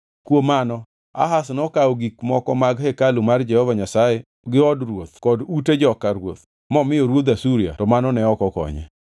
Kuom mano, Ahaz nokawo gik moko mag hekalu mar Jehova Nyasaye gi od ruoth kod ute joka ruoth momiyo ruodh Asuria to mano ne ok okonye.